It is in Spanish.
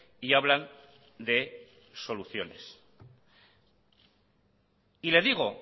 y hablan de soluciones y le digo